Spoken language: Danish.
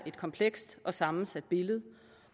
komplekst og sammensat